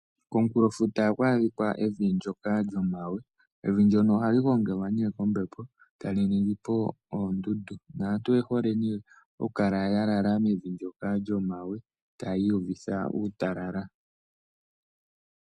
Komukulofuta ohaku adhika evi ndyoka lyomawe. Evi ndyono ohali gongelwa ne kombepo etali ningipo oondundu. Naantu oye hole ne oku kala ya lala mevi ndyoka lyomawe taya iyu vitha uutalala.